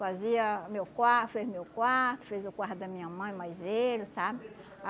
Fazia meu quar fez meu quarto, fez o quarto da minha mãe, mais ele, sabe?